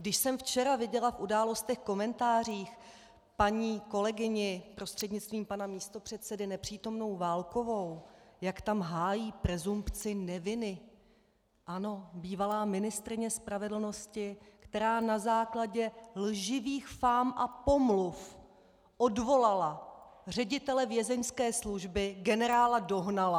Když jsem včera viděla v Událostech, komentářích paní kolegyni, prostřednictvím pana místopředsedy, nepřítomnou Válkovou, jak tam hájí presumpci neviny - ano, bývalá ministryně spravedlnosti, která na základě lživých fám a pomluv odvolala ředitele Vězeňské služby generála Dohnala.